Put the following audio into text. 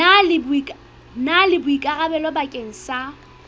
na le boikarabelo bakeng sa